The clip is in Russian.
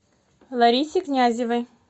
ларисе князевой